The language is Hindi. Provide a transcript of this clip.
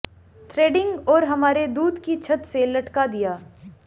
थ्रेडिंग और हमारे दूत की छत से लटका दिया